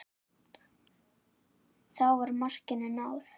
Þá var markinu náð.